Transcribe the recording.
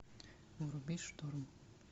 вруби шторм